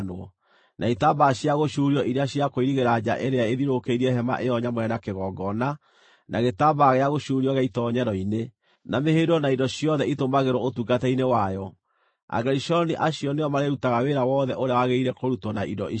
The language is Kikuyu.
na itambaya cia gũcuurio iria cia kũirigĩra nja ĩrĩa ĩthiũrũrũkĩirie Hema-ĩyo-Nyamũre na kĩgongona, na gĩtambaya gĩa gũcuurio gĩa itoonyero-inĩ, na mĩhĩndo na indo ciothe itũmagĩrwo ũtungata-inĩ wayo. Agerishoni acio nĩo marĩrutaga wĩra wothe ũrĩa wagĩrĩire kũrutwo na indo icio.